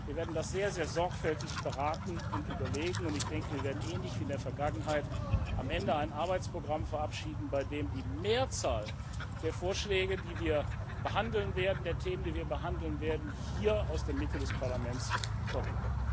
Wir werden das sehr, sehr sorgfältig beraten und überlegen, und ich denke, wir werden ähnlich wie in der Vergangenheit am Ende ein Arbeitsprogramm verabschieden, bei dem die Mehrzahl der Vorschläge, die wir behandeln werden, der Themen, die wir behandeln werden, hier aus der Mitte des Parlaments kommen.